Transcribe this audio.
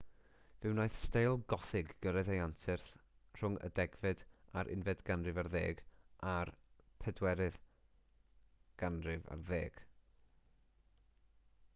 fe wnaeth steil gothig gyrraedd ei anterth rhwng y 10fed-11eg ganrif a'r 14eg ganrif